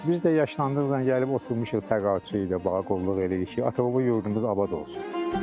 Biz də yaşlandıqca gəlib oturmuşuq təqaüdçü ilə bağa qulluq eləyirik ki, ata-baba yurdumuz abad olsun.